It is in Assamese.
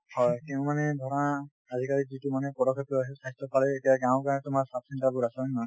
হয় তেওঁ মানে ধৰা আজিকালি যিটো মানে পদক্ষেপ লৈ আছে স্বাস্থ্যৰ ফালেৰে , এতিয়া গাঁৱে গাঁৱে তোমাৰ sub center বোৰ আছে হয় নে নহয়,